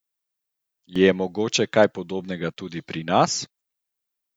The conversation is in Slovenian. Je mogoče kaj podobnega tudi pri nas?